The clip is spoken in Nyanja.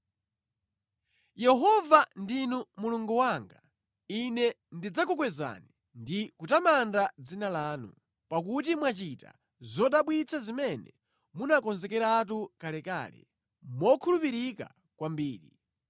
Yehova ndinu Mulungu wanga; ine ndidzakukwezani ndi kutamanda dzina lanu, pakuti mwachita zodabwitsa zimene munakonzekeratu kalekale mokhulupirika kwambiri.